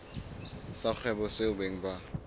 sa kgwebo seo beng ba